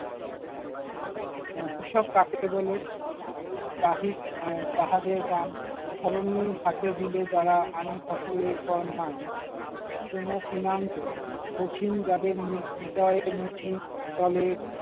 আহ কৃষক কাকে বলে? গাহি আহ কাহাদের গান, ধরণীর হাতে দিল যারা আনি ফসলের ফরমান, কিনে আন্ত, কঠিন যাদের নির্দয়ে।